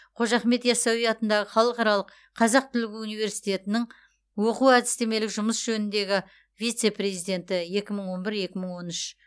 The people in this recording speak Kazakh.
қожа ахмет ясауи атындағы халықаралық қазақ түрік университетінің оқу әдістемелік жұмыс жөніндегі вице президенті екі мың он бір екі мың он үш